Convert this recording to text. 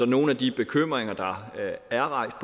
nogle af de bekymringer der er rejst